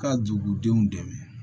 Ka dugudenw dɛmɛ